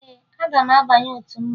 Ee, aga m abanye otu mmanwụ